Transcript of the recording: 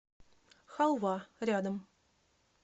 халва рядом